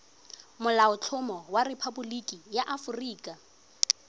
molaotlhomo wa rephaboliki ya aforika